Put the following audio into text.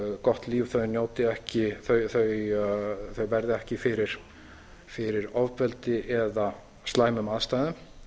gott líf þau verði ekki fyrir ofbeldi eða slæmum aðstæðum